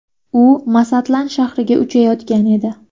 U Masatlan shahriga uchayotgan edi.